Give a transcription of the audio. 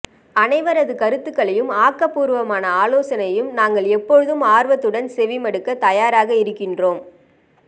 அனைவரது கருத்துக்களையும் ஆக்கபூர்வமான ஆலோசனையும் நாங்கள் எப்பொழுதும் ஆர்வத்துடன் செவிமடுக்க தயாராக இருக்கின்றோம்